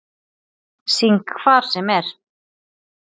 Syng hvar sem er